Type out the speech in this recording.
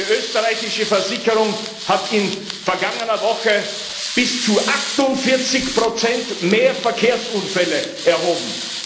Eine österreichische Versicherung hat in der vergangenen Woche bis zu 48 mehr Verkehrsunfälle erhoben